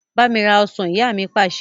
Bámi rà ọ́ṣán! Ìyá mi Pàṣẹ.